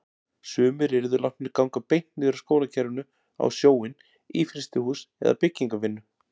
Sumir yrðu látnir ganga beint niður af skólakerfinu á sjóinn, í frystihús eða byggingarvinnu.